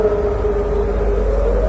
Əşhədü ən la ilahə illallah.